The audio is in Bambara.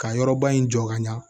Ka yɔrɔba in jɔ ka ɲa